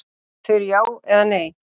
Þau eru já eða nei.